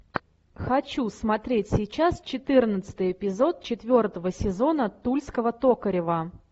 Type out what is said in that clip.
хочу смотреть сейчас четырнадцатый эпизод четвертого сезона тульского токарева